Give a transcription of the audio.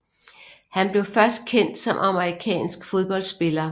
Han blev først kendt som amerikansk fodboldspiller